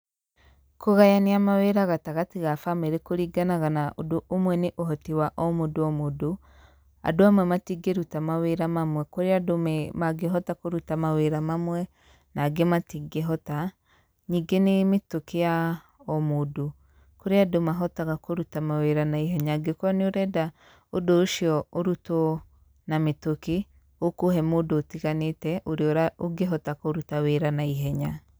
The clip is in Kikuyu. kῦgayania mawῖra gatagatῖ ga bamῖrῖ kῦringanaga na ῦndῦ ῦmwe, nῖ ῦhoti wa o mῦndῦ o mῦndu, andῦ amwe matingῖruta mawῖra mamwe, kῦrῖ andῦ me mangῖhota kῦruta mawῖra mamwe, na angῖ matingῖhota, ningῖ nῖ mῖtῦkῖ ya o mῦndῦ, kurῖ andῦ mahotaga kῦruta mawῖra na ihenya, angῖkorwo nῖ ῦrenda ῦndῦ ῦcio ῦrutwo na mῖtukῖ ῦkῦhe mῦndῦ ῦtiganῖte ῦrῖa ῦngῖhota kῦruta wῖra na ihenya.